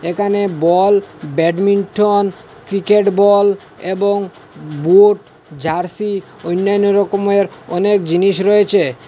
এখানে ball badminton cricket ball এবং boot jersey অনাইন্য রকমের অনেক জিনিস রয়েছে।